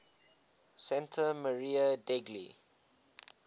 santa maria degli